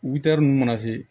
Wtɛri nunnu mana se